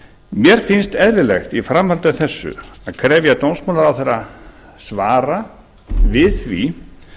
mér finnst eðlilegt í framhaldi af þessu að krefja dómsmálaráðherra svara við því